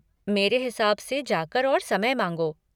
मेरे हिसाब से जाकर और समय माँगो।